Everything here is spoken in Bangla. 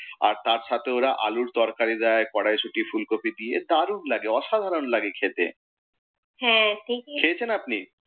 আর তার সাথে ওরা আলুর তরকারি দেয়, কড়াইশুঁটি ফুল কফি দিয়ে অসাধারণ লাগে খেতে। হ্যাঁ ঠিকই খেয়েছেন আপনি?